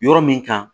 Yɔrɔ min kan